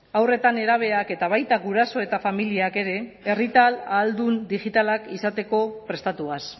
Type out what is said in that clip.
haur eta nerabeak eta baita guraso eta familiak ere herritar ahaldun digitalak izateko prestatuaz